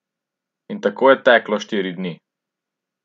In tako je teklo štiri dni.